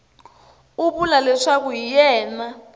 u vula leswaku hi yena